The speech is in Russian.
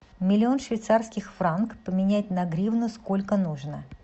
миллион швейцарских франк поменять на гривны сколько нужно